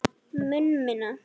Mun minna.